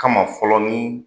Kama fɔlɔ nin